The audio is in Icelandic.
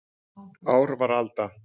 Ár var alda.